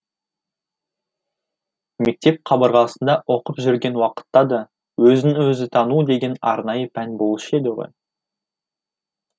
мектеп қабырғасында оқып жүрген уақытта да өзін өзі тану деген арнайы пән болушы еді ғой